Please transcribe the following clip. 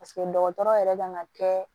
dɔgɔtɔrɔ yɛrɛ kan ka kɛ